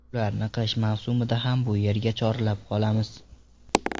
Ularni qish mavsumida ham bu yerga chorlab qolamiz.